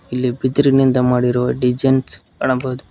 ಇಲ್ಲಿ ಬಿದಿರಿನಿಂದ ಮಾಡಿರುವ ಡಿಸೈನ್ಸ್ ಕಾಣಬಹುದು.